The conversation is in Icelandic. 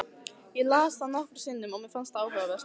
Ég las það nokkrum sinnum og mér fannst það áhugavert.